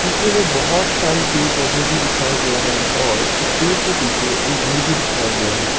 में बहुत सारी पेर पौधे भी दिखाए गए हैं और एक पेड़ के पीछे एक घर भी दिखाया गया है।